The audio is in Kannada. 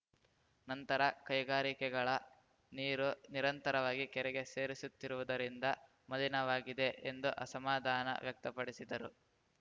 ನಂತರ ಕೈಗಾರಿಕೆಗಳ ನೀರು ನಿರಂತರವಾಗಿ ಕೆರೆಗೆ ಸೇರಿಸುತ್ತಿರುವುದರಿಂದ ಮಲಿನವಾಗಿದೆ ಎಂದು ಅಸಮಾಧಾನ ವ್ಯಕ್ತಪಡಿಸಿದರು